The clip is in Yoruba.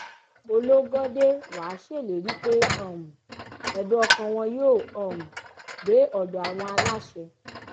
ológọ́dé wàá ṣèlérí pé um ẹ̀dùn ọkàn wọn yóò um dé ọ̀dọ̀ àwọn aláṣẹ